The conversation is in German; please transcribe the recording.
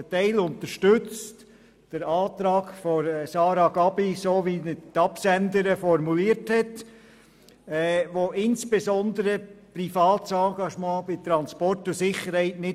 Ein Teil unterstützt den Antrag von Sarah Gabi, so wie ihn die Absenderin formuliert hat, der insbesondere kein privates Engagement bei Transport und Sicherheit will.